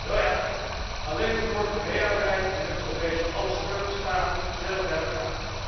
Wel ja, alleen nog Noord Korea erbij en wij hebben zo'n beetje alle schurkenstaten gezellig bij elkaar.